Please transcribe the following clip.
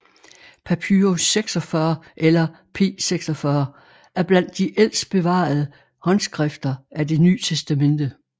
Papyrus 46 eller P46 er blandt de ældste bevarede håndskrifter af Det Ny Testamente